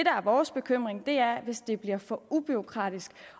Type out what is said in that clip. er vores bekymring er at det bliver for bureaukratisk